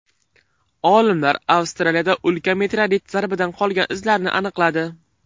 Olimlar Avstraliyada ulkan meteorit zarbidan qolgan izlarni aniqladi.